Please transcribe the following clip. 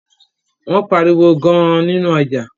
Wón pá àriwo gaan ninu ọjà